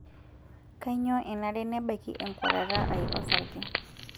Kainyoo enare nebaiki enkuatata ai osarge?